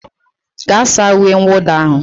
Gaa saa uwe mwụda ahụ